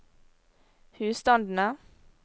husstandene